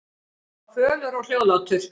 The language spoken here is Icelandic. Hann var fölur og hljóðlátur.